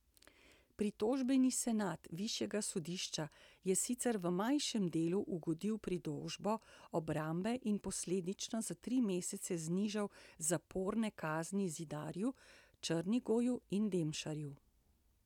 Pritožbeni senat višjega sodišča je sicer v manjšem delu ugodil pritožbam obrambe in posledično za tri mesece znižal zaporne kazni Zidarju, Črnigoju in Demšarju.